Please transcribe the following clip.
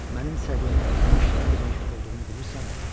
MƏNİM SƏVİYYƏMƏ ENMİŞ NƏ DEMƏK OLDUĞUNU BİLİRSƏNMİ?